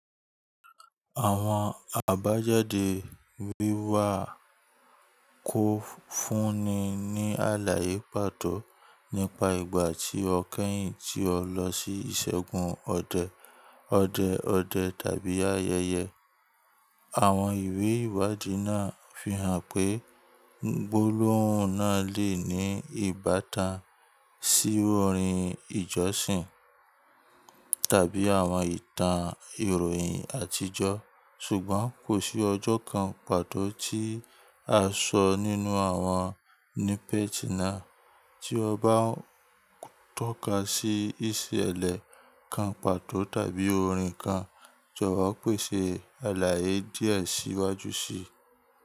Àwọn àbájáde wíwá kó fúnni ní àlàyé pàtó nípa ìgbà tí ó kẹ́yìn tí ó lọ sí ìṣẹ́gun ọdẹ, ọdẹ ọdẹ tàbí ayẹyẹ. Àwọn ìwé ìwádìí náà fi hàn pé gbólóhùn náà lè ní ìbátan sí orin ìjọsìn tàbí àwọn ìtàn ìròyìn àtijọ́. Ṣùgbọ́n kò sí ọjọ́ kan pàtó tí a sọ nínú àwọn nípa ìtàn náà. Tí ó bá ń tọ́ka sí ìṣẹ̀lẹ̀ kan pàtó tàbí orin kan, jọ̀wọ́ pèsè àlàyé díẹ̀ síwájú síi.